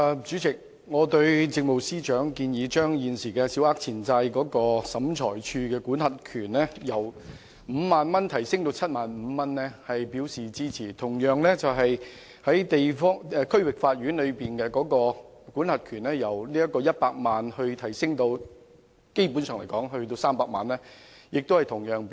主席，我對政務司司長建議把現時小額錢債審裁處的民事司法管轄權限，由 50,000 元提高至 75,000 元表示支持，亦同樣支持把區域法院的民事司法管轄權限由100萬元提高至300萬元。